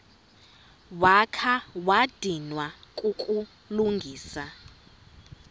wakha wadinwa kukulungisa